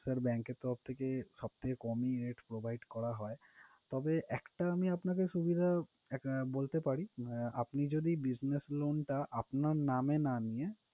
Sir bank এর তরফ থেকে, সবথেকে কমই rate provide করা হয়। তবে একটা আমি আপনাকে সুবিধা এক~ বলতে পারি, আপনি যদি business loan টা আপনার নামে না নিয়ে